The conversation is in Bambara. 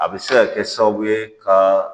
A bɛ se ka kɛ sababu ye ka